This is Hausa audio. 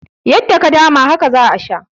Yadda ka dama, haka za a sha.